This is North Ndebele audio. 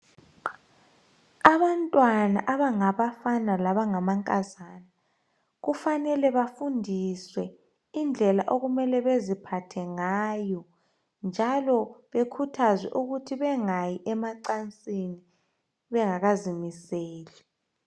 Abantwana abangabafana labangamankazana kufanele bafundiswe indlela okumele beziphathe ngayo njalo bekhuthazwe ukuthi bengayi emacansini bengakazimiseli.